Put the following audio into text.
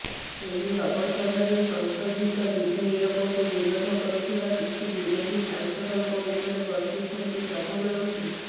ଏହି ଅବସରରେ ସଂଶୋଧିତ ବିଧେୟକକୁ ବିରୋଧ କରୁଥିବା କିଛି ବିରୋଧୀ ସାଂସଦଙ୍କ ଉପରେ ବର୍ଷିଛନ୍ତି ପ୍ରଧାନମନ୍ତ୍ରୀ